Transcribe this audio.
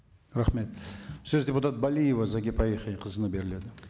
рахмет сөз депутат балиева зағипа яхияқызына беріледі